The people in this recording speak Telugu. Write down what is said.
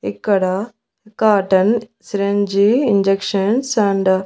ఇక్కడ కాటన్ సిరంజీ ఇంజెక్షన్స్ అండ్ .